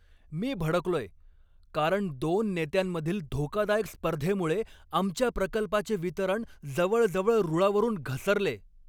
मी भडकलोय, कारण दोन नेत्यांमधील धोकादायक स्पर्धेमुळे आमच्या प्रकल्पाचे वितरण जवळजवळ रुळावरून घसरले.